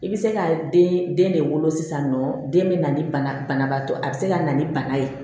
I bɛ se ka den den de wolo sisan nɔ den bɛ na ni banabaatɔ ye a bɛ se ka na ni bana ye